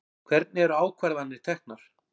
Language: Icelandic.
Hvernig eru ákvarðanir teknar?